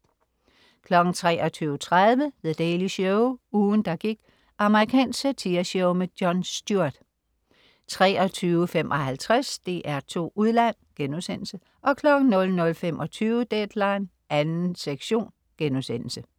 23.30 The Daily Show. Ugen, der gik. Amerikansk satireshow. Jon Stewart 23.55 DR2 Udland* 00.25 Deadline 2. sektion*